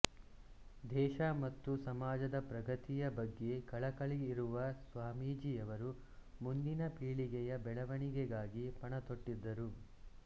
ದೇಶ ಮತ್ತು ಸಮಾಜದ ಪ್ರಗತಿಯ ಬಗ್ಗೆ ಕಳಕಳಿಯಿರುವ ಸ್ವಾಮೀಜಿಯವರು ಮುಂದಿನ ಪೀಳಿಗೆಯ ಬೆಳವಣಿಗೆಗಾಗಿ ಪಣತೊಟ್ಟಿದ್ದರು